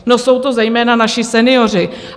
No jsou to zejména naši senioři.